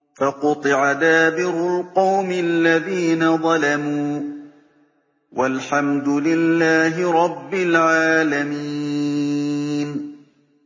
فَقُطِعَ دَابِرُ الْقَوْمِ الَّذِينَ ظَلَمُوا ۚ وَالْحَمْدُ لِلَّهِ رَبِّ الْعَالَمِينَ